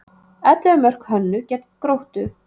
Ellefu mörk Hönnu gegn Gróttu